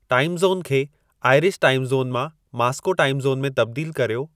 टाइमु zone खे Irish time zone मां Moscow time zone में तब्दील कर्यो